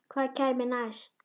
Hvað kæmi næst?